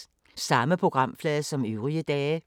Samme programflade som øvrige dage